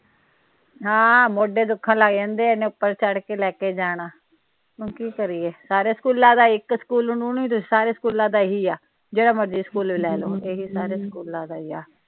ਹਾਂ ਆ ਮੋਢੇ ਦੁਖਣ ਲਗ ਜਾਂਦੇ ਇੰਨੀ ਉਪਰ ਚੜ੍ਹ ਕੇ ਲੈ ਕੇ ਜਾਣਾ ਹੁਣ ਕੀ ਕਰੀਏ ਸਾਰੇ ਸਕੂਲਾਂ ਦਾ ਇਕ ਸਕੂਲ ਨੂੰ ਨਹੀਂ ਸਾਰੇ ਸਕੂਲਾਂ ਦਾ ਇਹੀ ਆ ਜਿਹੜਾ ਮਰਜੀ ਸਕੂਲ ਲੇਲੋ ਇਹੀ ਸਾਰੇ ਸਕੂਲਾਂ ਦਾ ਈ।